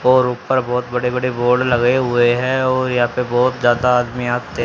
और ऊपर बहोत बड़े बड़े बोर्ड लगे हुए हैं और यहां पे बहोत ज्यादा आदमी आते--